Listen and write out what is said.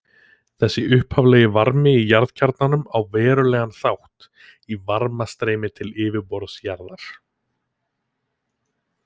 Þessi upphaflegi varmi í jarðkjarnanum á verulegan þátt í varmastreymi til yfirborðs jarðar.